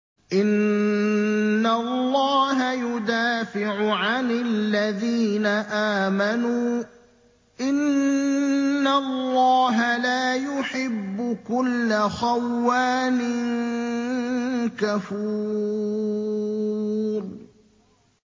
۞ إِنَّ اللَّهَ يُدَافِعُ عَنِ الَّذِينَ آمَنُوا ۗ إِنَّ اللَّهَ لَا يُحِبُّ كُلَّ خَوَّانٍ كَفُورٍ